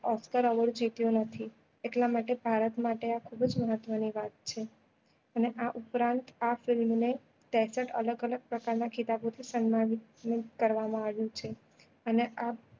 Osca award જીત્યો નથી એટલા માટે ભારત માટે આ ખુબ જ મહત્વ નીં વાત છે અને આ ઉપરાંત આ film ને ત્રેસત્ત અલગ અલગ પ્રકાર ના ખિતાબો થી સન્માનિત કરવા માં આવ્યો છે અને અ